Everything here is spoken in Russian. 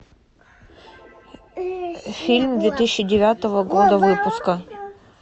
фильм две тысячи девятого года выпуска